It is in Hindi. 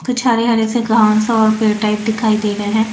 कुछ हरे हरे से घांस और पेड़ टाइप दिखाई दे रहे हैं।